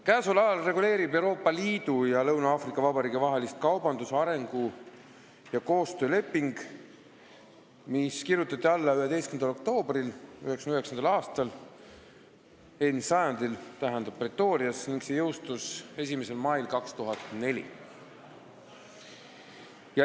Käesoleval ajal reguleerib Euroopa Liidu ja Lõuna-Aafrika Vabariigi vahelist suhtlust kaubandus-, arengu- ja koostööleping, mis kirjutati alla 11. oktoobril 1999. aastal, st eelmisel sajandil, Pretorias ning see jõustus 1. mail 2004.